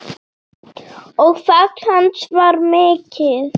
Og fall hans var mikið.